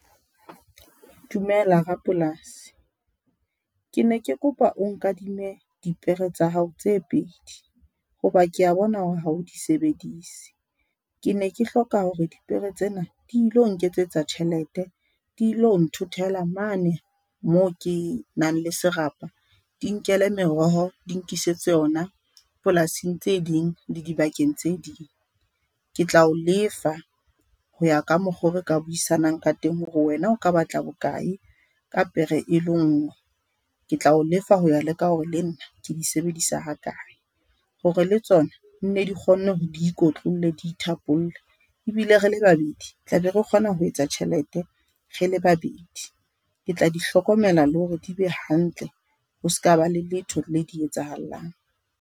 Dumela rapolasi. Ke ne ke kopa o nkadime dipere tsa hao tse pedi hoba ke ya bona hore ha o di sebedise, ke ne ke hloka hore dipere tsena di lo nketsetsa tjhelete. Dilo nthothela mane moo ke nang le serapa. Di nkele meroho, di nkisitse yona polasing tse ding, le dibakeng tse ding. Ke tla o lefa ho ya ka mokgo re ka buisanang ka teng hore wena o ka batla bokae ka pere e le nngwe, ke tla o lefa ho ya ka hore le nna ke di sebedisa ha kae. Hore le tsona nne di kgonne hore diikotlolle diithapolle ebile rele babedi tla be re kgona ho etsa tjhelete, rele babedi ke tla di hlokomela, le hore di be hantle. Ho ska ba le letho le di etsahallang.